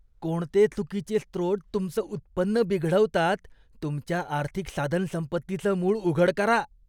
कोणते चुकीचे स्रोत तुमचं उत्पन्न बिघडवतात? तुमच्या आर्थिक साधनसंपत्तीचं मूळ उघड करा.